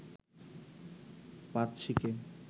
পাঁচ সিকে